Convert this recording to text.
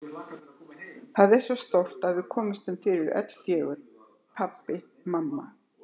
Það er svo stórt að við komumst fyrir öll fjögur: Pabbi, mamma